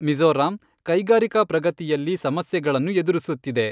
ಮಿಜೋರಾಂ ಕೈಗಾರಿಕಾ ಪ್ರಗತಿಯಲ್ಲಿ ಸಮಸ್ಯೆಗಳನ್ನು ಎದುರಿಸುತ್ತಿದೆ.